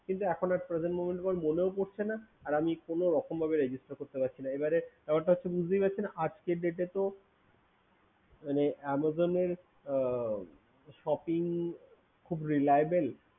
But the present moment আমার মনেও পরছে না আর কোনোভাবে register ও করতে পারছি না ব্যপারটা হচ্ছে আজকের date এ তো মানে Amazon shopping খুব reliable